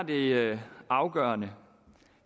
det afgørende